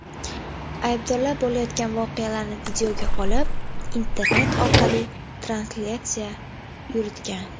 Aybdorlar bo‘layotgan voqealarni videoga olib, internet orqali translyatsiya yuritgan.